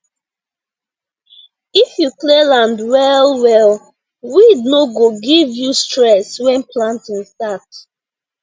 if you clear land well well weed no go give you stress when planting start